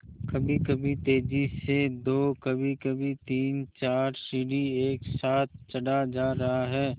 कभीकभी तेज़ी से दो कभीकभी तीनचार सीढ़ी एक साथ चढ़ा जा रहा है